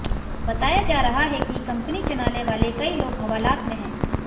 बताया जा रहा है कि कंपनी चलाने वाले कई लोग हवालात में हैं